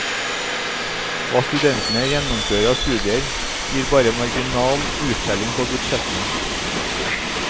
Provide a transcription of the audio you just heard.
Hva studentene gjennomfører av studier, gir bare marginal uttelling på budsjettene.